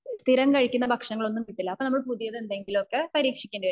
നമുക് സ്ഥിരം കഴിക്കുന്ന ഭക്ഷണം ഒന്നും കിട്ടില്ല അപ്പൊ നമ്മൾ പുതിയത് എന്തെങ്കിലുമൊക്കെ പരീക്ഷിക്കേണ്ടി വരും